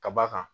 Ka b'a kan